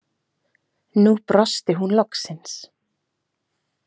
Nú brosti hún loksins.